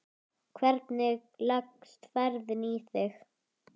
Hvernig leggst ferðin í þig?